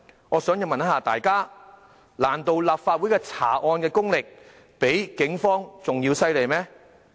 我想請問大家，難道立法會的查案功力比警方更為厲害嗎？